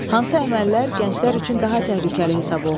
Hansı əməllər gənclər üçün daha təhlükəli hesab olunur?